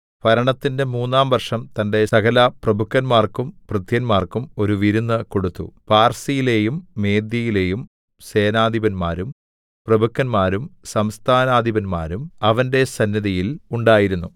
ഭരണത്തിന്റെ മൂന്നാം വർഷം തന്റെ സകലപ്രഭുക്കന്മാർക്കും ഭൃത്യന്മാർക്കും ഒരു വിരുന്ന് കൊടുത്തു പാർസ്യയിലെയും മേദ്യയിലെയും സേനാധിപന്മാരും പ്രഭുക്കന്മാരും സംസ്ഥാനാധിപന്മാരും അവന്റെ സന്നിധിയിൽ ഉണ്ടായിരുന്നു